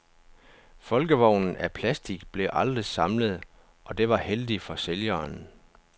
Folkevognen af plastic blev aldrig samlet, og det var heldigt for sælgeren.